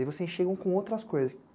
E aí vocês chegam com outras coisas.